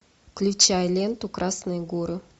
включай ленту красные горы